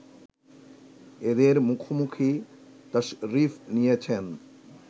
এঁদের মুখোমুখি তাশরিফ নিয়েছেন